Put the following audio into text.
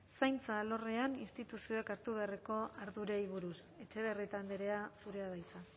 zaintza alorrean instituzioek hartu beharreko ardurei buruz etxebarrieta andrea zurea da hitza